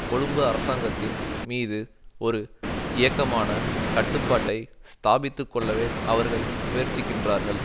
கொழும்பு அரசாங்கத்தின் மீது ஒரு இயக்கமான கட்டுப்பாட்டை ஸ்தாபித்துக்கொள்ளவே அவர்கள் முயற்சிக்கின்றார்கள்